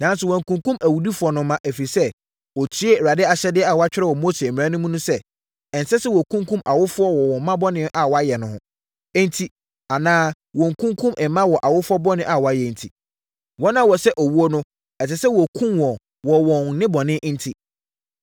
Nanso, wankunkum awudifoɔ no mma, ɛfiri sɛ, ɔtiee Awurade ahyɛdeɛ a wɔatwerɛ wɔ Mose mmara nwoma no mu no sɛ: Ɛnsɛ sɛ wɔkunkum awofoɔ wɔ wɔn mma bɔne a wɔayɛ enti, anaa wɔkunkum mma wɔ awofoɔ bɔne a wɔayɛ enti. Wɔn a wɔsɛ owuo no, ɛsɛ sɛ wɔkum wɔn wɔ wɔn nnebɔne enti.